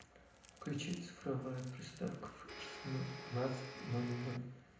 включи цифровая приставка в шестнадцать ноль ноль